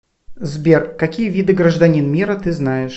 сбер какие виды гражданин мира ты знаешь